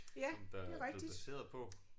Som der blevet baseret på